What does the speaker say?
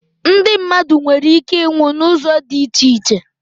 Ndị mmadụ nwere ike iịnwụ n'ụzọ dị iche iche